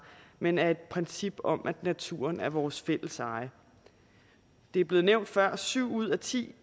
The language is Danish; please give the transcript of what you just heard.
men af et princip om at naturen er vores fælles eje det er blevet nævnt før at syv ud af ti